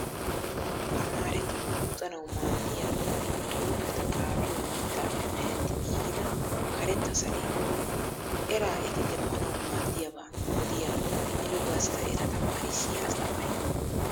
Tamaareti luxanaw maaddiya xuupeta xaapiyo mittappe meretti giigida karetta saleeda. Era eti demmanawu maaddiyaba odiya mino gastta eta tamaarissiyaa asttamaariyaa.